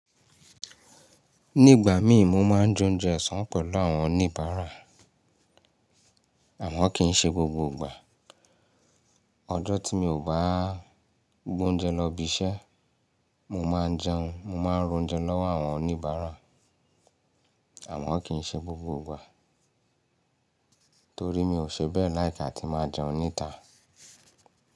Ní ìgbà mí, mo máa ń jẹ oúnjẹ ọ̀sán pẹ̀lú àwọn oníbàárà àmọ́ kì í ṣe gbogbo ìgbà. Ọjọ́ tí mi ò bá gbé oúnjẹ lọ ibiṣẹ́, mo máa ń jẹun, mo máa ń ra ounjẹ lọ́wọ́ àwọn oníbàárà àmọ́ kì í ṣe gbogbo ìgbà torí mi ò ṣe bẹ́ẹ̀ like ati máa jẹun níta.